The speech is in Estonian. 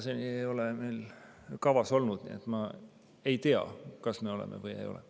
Seni ei ole meil seda kavas olnud, nii et ma ei tea, kas me oleme või ei ole.